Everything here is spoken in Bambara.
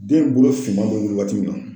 Den bolo finman bɛ wuli waati min na